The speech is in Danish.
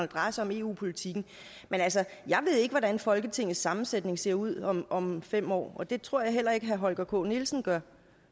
drejer sig om eu politikken men altså jeg ved ikke hvordan folketingets sammensætning ser ud om om fem år og det tror jeg heller ikke at herre holger k nielsen gør